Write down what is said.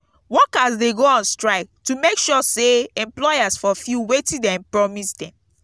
workers de go on strike to make sure say employers fulfill wetin de promise dem